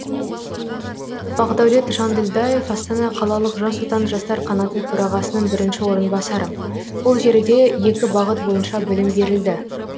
бақдаулет жанділдаев астана қалалық жас отан жастар қанаты төрағасының бірінші орынбасары ол жерде екі бағыт бойынша білім берілді